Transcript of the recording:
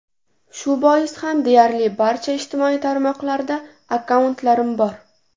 Shu bois ham deyarli barcha ijtimoiy tarmoqlarda akkauntlarim bor.